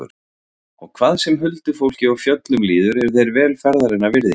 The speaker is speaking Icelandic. Og hvað sem huldufólki og fjöllum líður eru þeir vel ferðarinnar virði.